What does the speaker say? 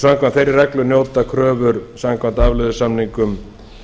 samkvæmt þeirri reglu njóta kröfur samkvæmt afleiðusamningum